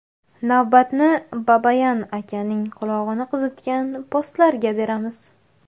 Navbatni Babayan akaning qulog‘ini qizitgan postlarga beramiz.